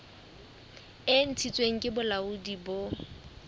e ntshitsweng ke bolaodi bo